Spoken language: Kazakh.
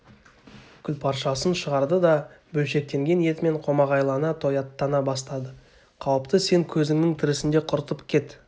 күлпаршасын шығарды да бөлшектенген етімен қомағайлана тояттана бастады қауіпті сен көзіңнің тірісінде құртып кет